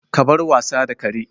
Ka bar wasa da kare!